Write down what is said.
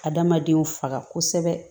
Adamadenw faga kosɛbɛ